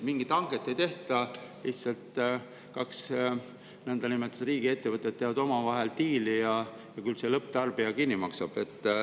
Mingit hanget ei tehta, lihtsalt kaks nõndanimetatud riigiettevõtet teevad omavahel diili ja küll lõpptarbija kõik kinni maksab.